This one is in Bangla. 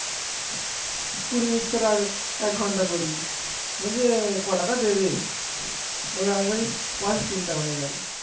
ওর আগে বেশি আমার চিন্তা হয়ে গেল